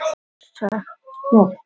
Hún lætur ekki hugfallast heldur.